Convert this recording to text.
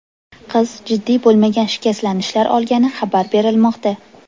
Qiz jiddiy bo‘lmagan shikastlanishlar olgani xabar berilmoqda.